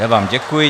Já vám děkuji.